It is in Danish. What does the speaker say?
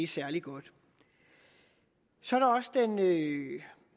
særlig godt så